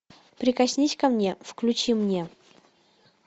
прикоснись ко мне включи мне